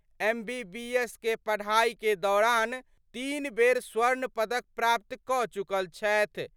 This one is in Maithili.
एमबीबीएस के पढ़ाई के दौरान तीन बेर स्वर्ण पदक प्राप्त क चुकल छथि।